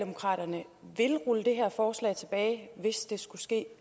forstås sådan at vi